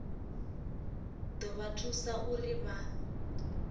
ḓo vha thusa uri vha